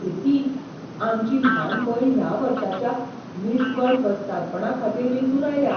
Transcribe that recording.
प्रीती! आमची ल्हान भयण ह्या वर्साच्या मिस वर्ल्ड वस्तादपणाखातीर वेंचून आयल्या!